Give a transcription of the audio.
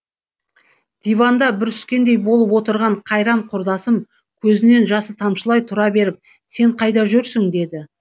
диванда бүріскендей болып отырған қайран құрдасым көзінен жасы тамшылай тұра беріп сен қайда жүрсің деді